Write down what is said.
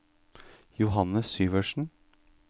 Johannes Syvertsen